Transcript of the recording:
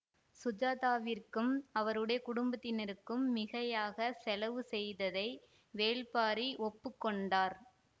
சுஜாதாவிற்கும் அவருடைய குடும்பத்தினருக்கும் மிகையாகச் செலவு செய்ததை வேல்பாரி ஒப்பு கொண்டார்